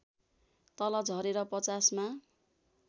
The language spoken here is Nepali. तल झरेर ५० मा